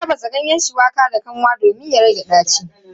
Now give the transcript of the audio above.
Ana tafasa ganyen shuwaka da kanwa domin ya rage ɗaci.